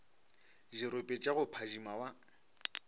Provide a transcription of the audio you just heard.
dirope tša go phadima wa